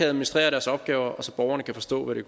administrere deres opgaver og så borgerne kan forstå hvad det